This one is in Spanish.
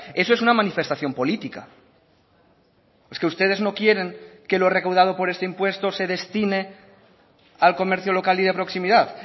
eso es una manifestación política es que ustedes no quieren que lo recaudado por este impuesto se destine al comercio local y de proximidad